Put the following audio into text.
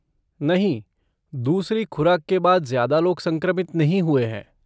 नहीं, दूसरी खुराक के बाद ज्यादा लोग संक्रमित नहीं हुए हैं।